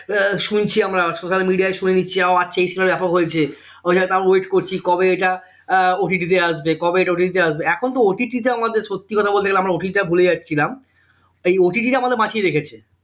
আহ শুনছি আমরা social media শুনে নিচ্ছি ও আচ্ছা এই cinema টা ব্যাপক হয়েছে তারপর wait করছি কবে এটা আহ আসবে কবে এটা তে আসবে এখন তো আমাদের সত্যি কথা বলতে গেলে আমরা ভুলে যাচ্ছিলাম এই আমাদের বাঁচিয়ে রেখেছে